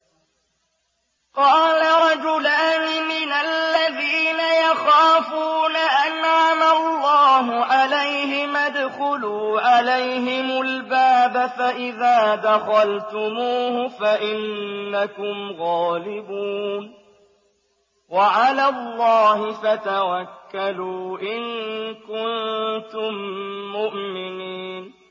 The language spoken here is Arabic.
قَالَ رَجُلَانِ مِنَ الَّذِينَ يَخَافُونَ أَنْعَمَ اللَّهُ عَلَيْهِمَا ادْخُلُوا عَلَيْهِمُ الْبَابَ فَإِذَا دَخَلْتُمُوهُ فَإِنَّكُمْ غَالِبُونَ ۚ وَعَلَى اللَّهِ فَتَوَكَّلُوا إِن كُنتُم مُّؤْمِنِينَ